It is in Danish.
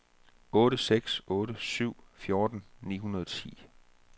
otte seks otte syv fjorten ni hundrede og ti